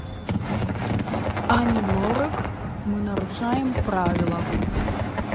ани лорак мы нарушаем правила